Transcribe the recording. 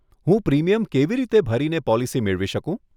હું પ્રીમિયમ કેવી રીતે ભરીને પોલિસી મેળવી શકું?